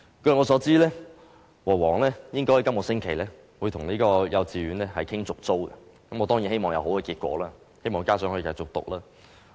據我所知，和黃應該會在本星期與幼稚園商討續租事宜，我當然希望有好結果，希望學生可以繼續讀書。